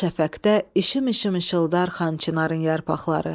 Al şəfəqdə işım-işım işıldar Xan Çinarın yarpaqları.